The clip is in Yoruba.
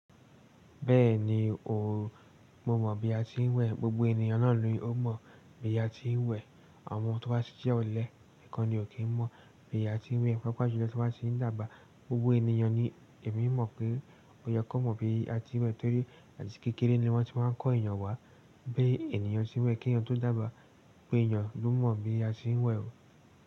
Bẹ́ẹ̀ni o, mo mọ̀ bí a ti ń wẹ̀, gbogbo ènìyàn náà ló mọ̀ bí a ti ń wẹ̀. Àwọn tí wọ́n bá sí iṣẹ́ olè nìkan ni ò kí ń mọ̀ bí a ti ń wẹ̀. Pápá ìṣẹ́ lọ́jọ́ tí wọ́n bá ṣì ń dábàá, gbogbo ènìyàn ni èmi mọ̀ pé ó yẹ kó mọ̀ bí a ti ń wẹ̀ torí àti kékeré ni wọ́n ti wá ń kọ́ ènìyàn wá. Bí ènìyàn ṣe ń wẹ̀ kí ènìyàn tó dàgbà, gbogbo ènìyàn ló mọ̀ bí a ti ń wẹ̀ o.